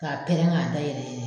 K'a pɛrɛn k'a da yɛlɛ yɛlɛɛ.